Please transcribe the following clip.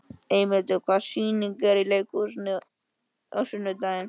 Eymundur, hvaða sýningar eru í leikhúsinu á sunnudaginn?